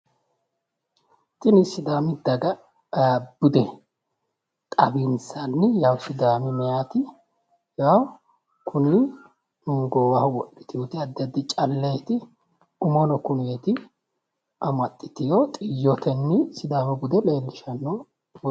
Kunni sidaami daga bude xawinsanni sidaami mayiti kunni goowaho wodhiteoti addi addi calleti mumono kuneeti amaxiteo xiyyoteenni sidaamu bude leelishano misileeti.